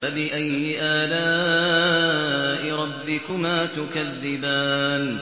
فَبِأَيِّ آلَاءِ رَبِّكُمَا تُكَذِّبَانِ